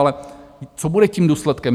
Ale co bude tím důsledkem?